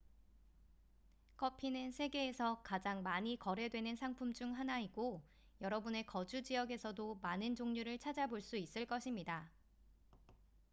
커피는 세계에서 가장 많이 거래되는 상품 중 하나이고 여러분의 거주 지역에서도 많은 종류를 찾아볼 수 있을 것입니다